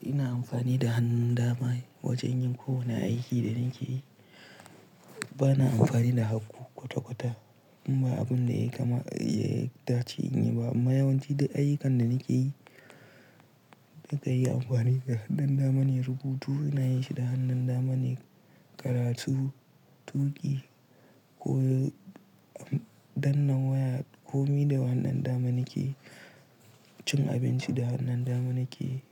Ina amfani da hannun dama wajen yin kowane aiki da nake yi. Bana amfani da haku kwata-kwata in ba abun da ya kama, ya dace in yi ba. Amma yawanci duk ayyukan da nake yi, na kai amfani da hannun dama ne. Rubutu ina yi shi da hannun dama ne, karatu, tuƙi ko dannan waya, komi da hannun dama nake yi, cin abinci da hannun dama nake yi.